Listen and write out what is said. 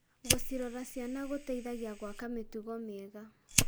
Gũcirora ciana gũteithagia gwaka mĩtugo mĩega.